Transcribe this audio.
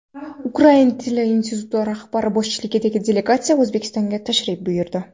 Ukrain tili instituti rahbari boshchiligidagi delegatsiya O‘zbekistonga tashrif buyurdi.